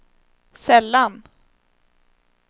sällan